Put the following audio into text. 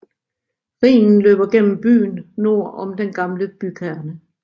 Rhinen løber gennem byen nord om den gamle bykerne